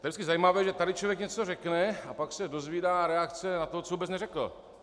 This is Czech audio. Je vždycky zajímavé, že tady člověk něco řekne, a pak se dozvídá reakce na to, co vůbec neřekl.